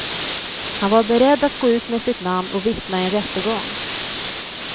Han var beredd att gå ut med sitt namn och vittna i en rättegång.